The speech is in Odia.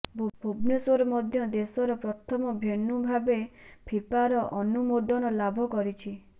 ଭୁବନେଶ୍ବର ମଧ୍ୟ ଦେଶର ପ୍ରଥମ ଭେନ୍ୟୁ ଭାବେ ଫିଫାର ଅନୁମୋଦନ ଲାଭ କରିଛି